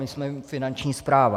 My jsme Finanční správa.